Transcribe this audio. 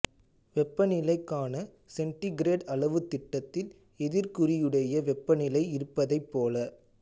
வெப்பநிலைக்கான centigrade அளவுத் திட்டத்தில் எதிர் குறியுடைய வெப்பநிலை இருப்பதைப் போல